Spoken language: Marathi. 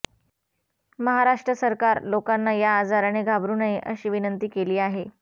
महाराष्ट्र सरकार लोकांना या आजाराने घाबरू नये अशी विनंती आहे